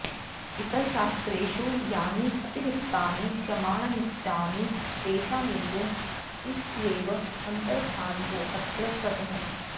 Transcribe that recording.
इतरशास्त्रेषु यानि अतिरिक्तानि प्रमाणान्युक्तानि तेषामेषु त्रिष्वेव अन्तर्भावोऽत्र कृतः